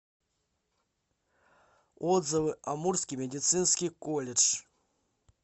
отзывы амурский медицинский колледж